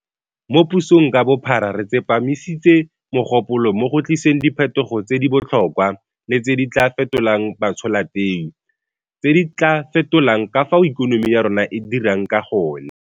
Mo pusong ka bophara re tsepamisitse mogopolo mo go tliseng diphetogo tse di botlhokwa le tse di tla fetolang batsholateu, tse di tla fetolang ka fao ikonomi ya rona e dirang ka gone.